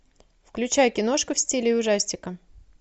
включай киношку в стиле ужастика